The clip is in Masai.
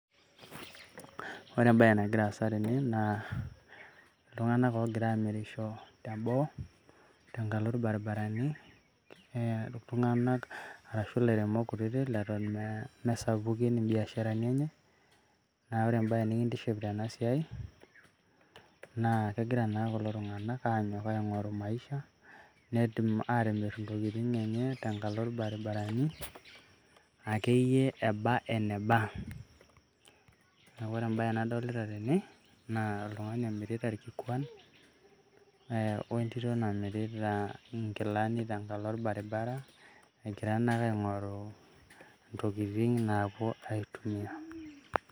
Ore ebae nagira aasa tene naa, iltung'anak ogira amirisho teboo, tenkalo irbarabarani. Iltung'anak arashu ilairemok kutitik leton mesapukin ibiasharani enye. Na ore ebae nikintiship tenasiai, naa kegira naa kulo tung'anak anyok aing'oru maisha. Netum atimir intokiting' enye tenkalo irbarabarani, akeyie eba eneba. Neeku ore ebae nadolita tene, naa oltung'ani omirita irkikuan, wentito namirita inkilani tenkalo orbaribara, egira nake aing'oru ntokiting' naapuo aitumia.